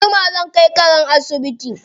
Anjima zan kai karen asibiti.